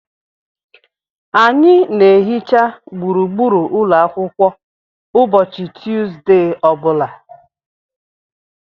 Anyị na-ehicha gburugburu ụlọ akwụkwọ ụbọchị Tuesde ọ bụla.